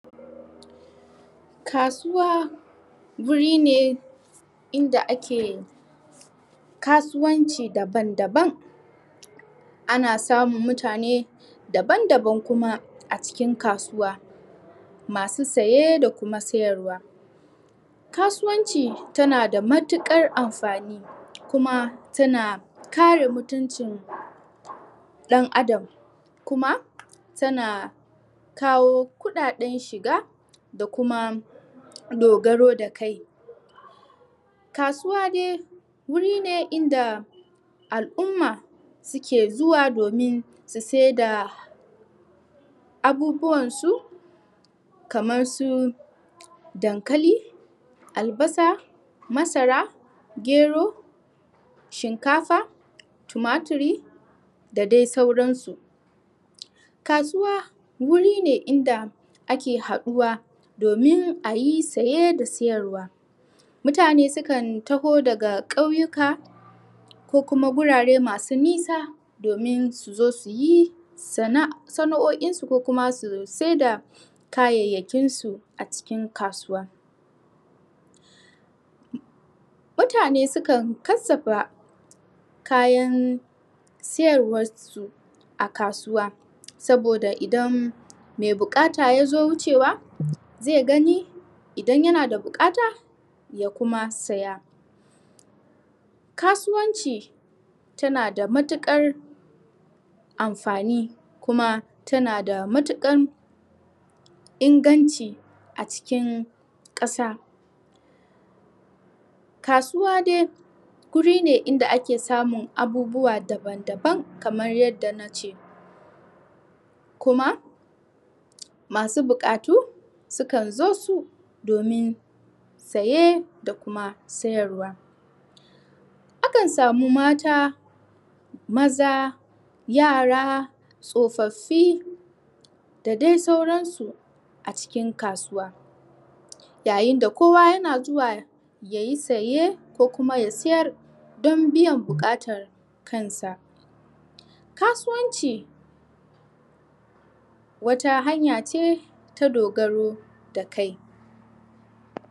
Kasuwa guri ne inda ake kasuwanci daban-daban ana samun mutane daban-daban kuma a cikin kasuwa masu saye da kuma siyarwa kasuwanci tana da matuƙar amfani kuma tana kare mutuncin ka ɗan'adam kuma tana kawo kuɗaɗen shiga da kuma dogaro da kai kasuwa dai wuri ne inda al'umma suke zuwa domin su saida abubuwan su kamar su dankali, albasa, masara, gero, shinkafa, tumatiri, da dai sauran su kasuwa wuri ne inda ake haɗuwa domin a yi saye da siyarwa mutane su kan taho daga ƙauyuka ko kuma gurare masu nisa domin su zo su yi sana'oin su ko kuma su saida kayayyakin su a cikin kasuwa mutane su kan kassafa kayan siyarwan su a kasuwa saboda idan be buƙata yazo wucewa zai gani idan yana da buƙata ya kuma siya kasuwanci tana da matuƙar amfani kuma tana da matuƙan inganci a cikin ƙasa kasuwa dai guri ne inda ake samun abubuwa daban-daban kamar yadda nace kuma masu buƙatu sukan zo su domin saye da kuma sayarwa akan samu mata maza yara tsofaffi da dai sauran su a cikin kasuwa yayin da kowa yana zuwa yayi saye ko kuma ya sayar don biyan buƙatar kan sa kasuwanci wata hanya ce ta dogaro da kai.